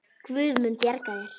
Guð mun bjarga þér.